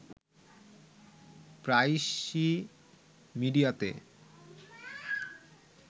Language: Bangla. প্রায়শই মিডিয়াতে